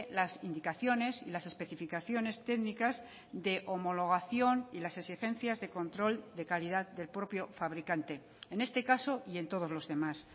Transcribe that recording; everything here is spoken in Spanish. las indicaciones y las especificaciones técnicas de homologación y las exigencias de control de calidad del propio fabricante en este caso y en todos los demás